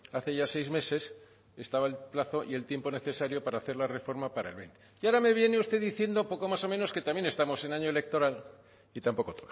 hace ya seis meses estaba el plazo y el tiempo necesario para hacer la reforma para el veinte y ahora me viene usted diciendo poco más o menos que también estamos en año electoral y tampoco